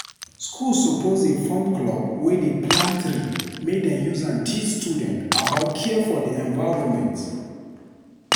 School suppose dey form club wey dey plant tree make dem use am teach students about care for di environment.